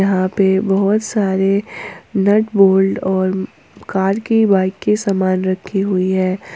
यहां पे बहुत सारे नट बोल्ट और कार की बाइक के समान रखी हुई है।